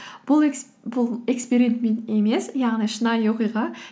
бұл эксперимент емес яғни шынайы оқиға